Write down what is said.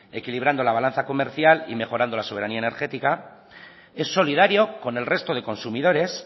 equilibrando la balanza comercial y mejorando la soberanía energética es solidario con el resto de consumidores